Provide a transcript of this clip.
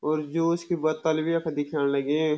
और जो इसकी बत्तल भी यख दिखेण लगीं।